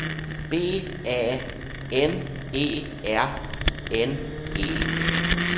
B A N E R N E